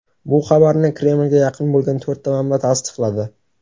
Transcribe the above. Bu xabarni Kremlga yaqin bo‘lgan to‘rtta manba tasdiqladi.